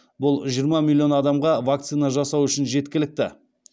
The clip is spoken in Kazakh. бұл жиырма миллион адамға вакцина жасау үшін жеткілікті